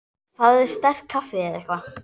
Fáðu þér sterkt kaffi eða eitthvað.